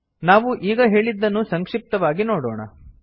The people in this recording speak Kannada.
ನಾವು ಈಗ ಹೇಳಿದ್ದನ್ನು ಸಂಕ್ಷಿಪ್ತವಾಗಿ ನೋಡೋಣ